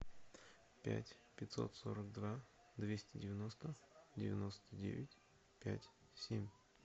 пять пятьсот сорок два двести девяносто девяносто девять пять семь